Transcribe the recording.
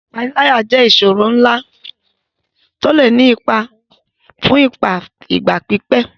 Ìpániláyà jẹ́ ìṣòro ńlá tó lè ní ipa fún ìgbà pípẹ́.